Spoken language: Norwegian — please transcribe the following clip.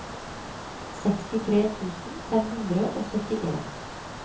sekstitre tusen fem hundre og syttien